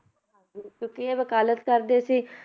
ਹਾਂਜੀ ਕਿਉਂਕਿ ਇਹ ਵਕਾਲਤ ਕਰਦੇ ਸੀ